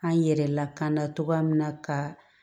An yɛrɛ lakana cogoya min na ka